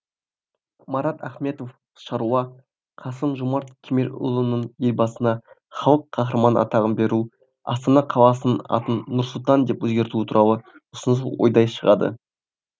марат ахметов шаруа қасым жомарт кемелұлының елбасына халық қаһарманы атағын беру астана қаласының атын нұр сұлтан деп өзгертуі туралы ұсынысы ойдай шығады